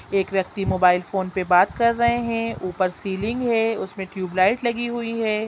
एक व्यक्ति mobile phone पे बात कर रहें है ऊपर सीलिंग है उसमे ट्यूबलाइट लगी हुई है।